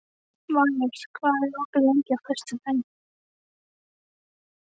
Valur, hvað er opið lengi á föstudaginn?